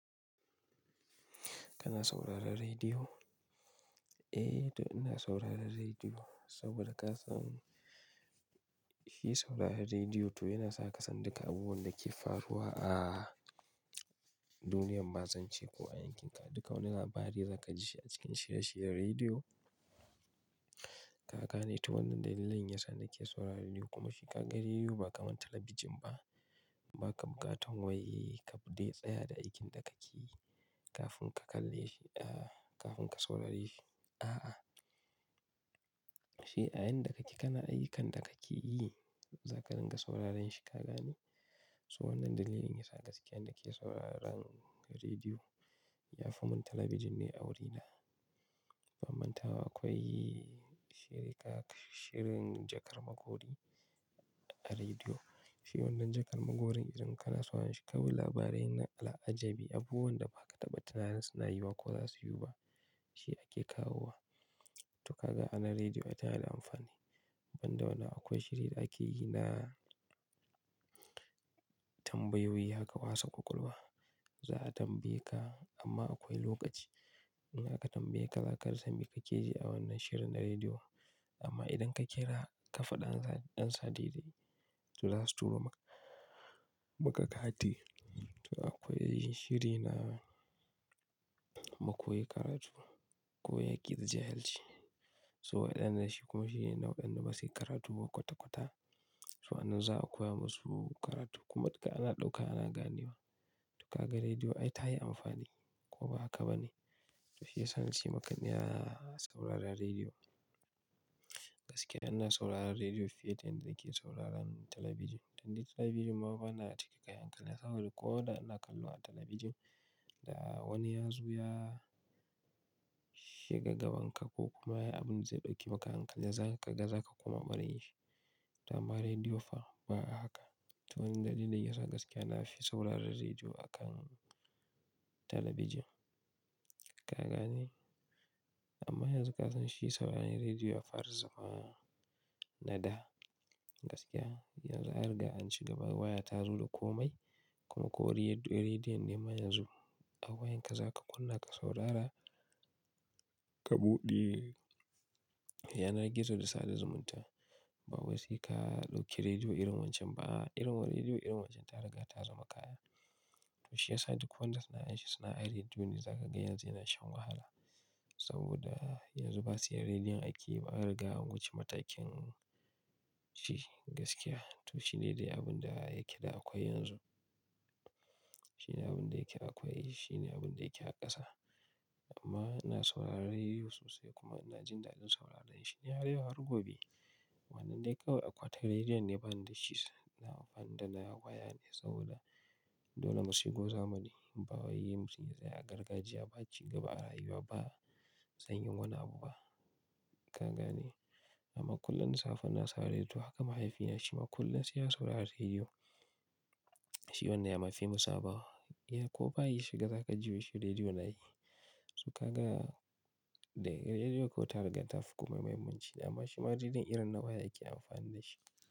Kana sauraron rediyo? Eh, to ina sauraron rediyo saboda ka san shi sauraron rediyo to yana sa ka san duk abubuwan da ke faruwa a duniyan ma zance ko a yankinka. Duka wani labari za ka ji shi a cikin shirye-shiryen rediyo. Ka gane to wannan dalilin yasa nake sauraron rediyo kuma shi kaga rediyo ba kamar talabijin ba. Ba ka bukatan wai ka dai tsaya da aikin da kake yi kafin ka kalle shi, kafin ka saurare shi. A'a. Shi a yanda kake kana ayyukan da kake yi, za ka dinga sauraren shi. Ka gane? So wannan dalilin yasa gaskiya nake sauraron rediyo. Yafi mun talabijin ni a wurina. Ban manta ba akwai shiri ka-- shirin jakar magori a rediyo. Shi wannan jakar magorin idan kana sauraren shi, kawai labarai na ala'ajabi, abubuwan da ba ka taɓa tunanin suna yiwuwa ko za su yiwu ba shi ake kawo wa. To ka ga anan rediyo tana da amfani. Ban da wannan akwai shiri da ake yi na tambayoyi haka wasa ƙwaƙwalwa. Za a tambaye ka amma akwai lokaci in aka tambaye ka, za ka rasa me ka keji a wannan shirin na rediyo. Amma idan ka ƙira, ka faɗi ansa daidai to za su turo maka kati. To akwai shiri na mu koyi karatu, ko yaki da jahilci. So wadannan shi kuma shine na wa waɗanda basu yi karatu ba kwata-kwata. To anan za a koya musu karatu. Kuma duka ana ɗauka ana ganewa. To ka ga rediyo ai tayi amfani ko ba haka ba ne? To shiyasa nace maka ina sauraron rediyo. Gaskiya ina sauraron rediyo fiye da yanda nake sauraron talabijin. Dan dai talabijin mafa yana cike kayan ƙalya saboda ko da ina kallo a talabijin, da wani ya zo ya shiga gabanka ko kuma abin da zai ɗauki maka hankali, za ka ga za ka kuma bari shi. To amma rediyo fa ba'a haka. To wannan dalilin yasa gaskiya nafi sauraron rediyo akan talabijin. Ka gane? Amma yanzu ka san shi sauraron rediyo ya fara zama nada. Gaskiya, yanzu an riga an cigaba waya tazo da komai. Kuma ko riyaɗ-riyar rediyon ne ma yanzu, a wayanka za ka kunna ka saurara ka buɗe yanar gizo da sanda zumunta. Ba wai seka ɗauki rediyo irin wancan ba. A'a, irin rediyo irin wancan ta riga ta zama kaya. To shiyasa duk wanda suna yanke suna a rediyo ne za ka ga yanzu yana shan wahala. Saboda yanzu basu yi rediyon aiki ba, an riga an wuce matakin shi gaskiya. To shine dai abun da yake da akwai yanzu. Shine abun da yake akwai, shine abun da yake a ƙasa. Amma ina sauraron rediyo sosai kuma ina jin daɗin sauraron shi. Ni har yau har gobe. Wannan dai kawai akwati rediyon ne bani da shi. Na amfani da na waya ne saboda dole mu shigo zamani. Bawai mutum yatsa ya gargajiya, ba a ci gaba a rayuwa ba. Zan yi wani abu ba. Ka gane? Amma kullum da safe ina saurari rediyo. Haka mahaifina shi ma kullum sai ya saurari rediyo. Shi wannan yama fi musaba. Ya ko bayi ya shiga, za ka ji shi rediyo na yi. To ka ga dai rediyo ko ta riga ta fi komai muhimmi shi. Amma shi ma rediyon irin na waya ake amfani da shi.